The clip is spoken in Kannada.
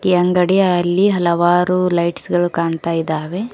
ಅಂಗಡಿಯಲ್ಲಿ ಹಲವಾರು ಲೈಟ್ಸ್ ಗಳು ಕಾಣ್ತಾ ಇದ್ದಾವೆ.